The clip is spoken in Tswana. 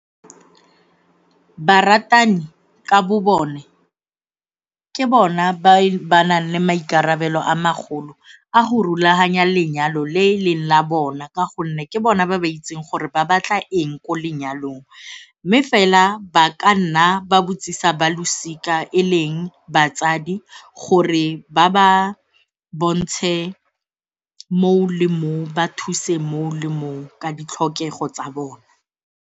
Baratani ka bo bone ke bona ba ba nang le maikarabelo a magolo a go rulaganya lenyalo le leng la bona ka gonne ke bona ba ba itseng gore ba batla eng ko lenyalong mme fela ba ka nna ba botsisa ba losika e leng batsadi gore ba ba bontshe moo le moo ba thuse moo le moo ka ditlhokego tsa bone.